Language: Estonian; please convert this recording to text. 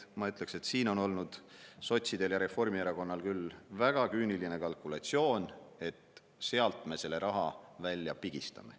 Ma ütleks, et siin on olnud sotsidel ja Reformierakonnal küll väga küüniline kalkulatsioon, et sealt me selle raha välja pigistame.